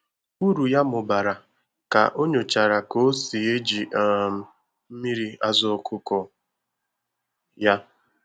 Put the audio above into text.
Uru ya mụbara ka o nyochara ka o si eji um mmiri azụ ọkụkọ ya